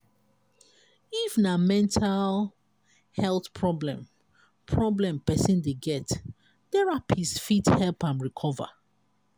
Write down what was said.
if na mental health problem problem person dey get therapist fit help am recover